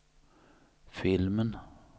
filmen